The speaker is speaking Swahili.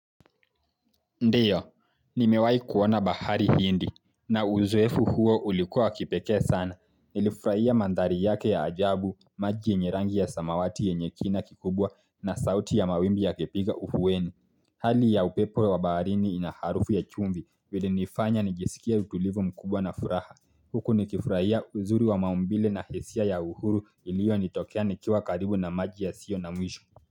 Ndiyo, nimewai kuona bahari hindi na uzowefu huo ulikuwa wa kipeke sana. Nilifrahia mandhari yake ya ajabu, maji yenye rangi ya samawati yenye kina kikubwa na sauti ya mawimbi yakipiga uhuweni. Hali ya upepo wa baharini inaharufu ya chumbi ilinifanya nijisikie utulivu mkubwa na furaha. Huku nikifrahia uzuri wa maumbile na hisia ya uhuru ilio nitokea nikiwa karibu na maji ya sio na mwisho.